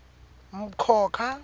mkhokha